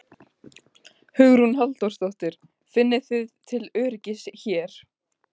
Hugrún Halldórsdóttir: Finnið þið til öryggis hér?